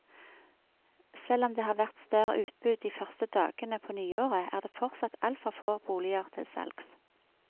Selv om det har vært større utbud de første dagene på nyåret, er det fortsatt altfor få boliger til salgs.